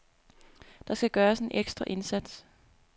Der skal gøres en ekstra indsats.